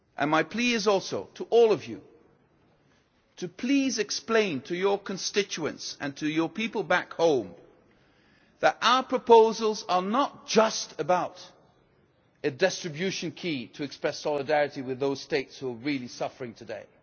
My plea is also to all of you to please explain to your constituents, and to your people back home, that our proposals are not just about a distribution key to express solidarity with those states who are really suffering today.